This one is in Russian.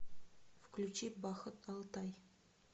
включи бахыт алтай